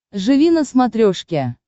живи на смотрешке